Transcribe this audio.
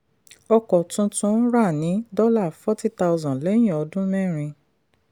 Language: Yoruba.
ọkọ̀ tuntun ra ní forty thousand dollars lẹ́yìn ọdún mẹ́rin.